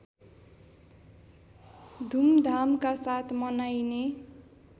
धुमधामका साथ मनाइने